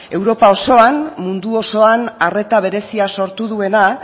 europa osoan mundu osoan arreta berezia sortu duena